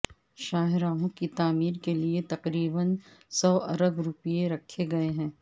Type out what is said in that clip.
شاہراہوں کی تعمیر کے لیے تقریبا سو ارب روپے رکھےگئے ہیں